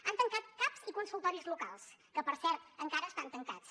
han tancat caps i consultoris locals que per cert encara estan tancats